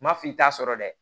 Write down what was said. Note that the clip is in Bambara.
Ma f'i t'a sɔrɔ dɛ